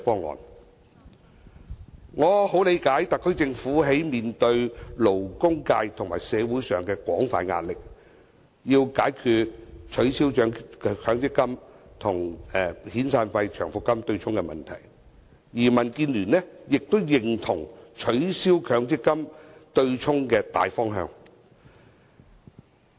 我非常理解特區政府面對勞工界和社會上的廣泛壓力，要解決取消強積金與遣散費、長期服務金對沖的問題，而民建聯亦認同取消強積金對沖的大方向。